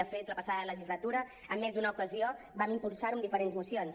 de fet la passada legislatura en més d’una ocasió vam impulsar ho amb diferents mocions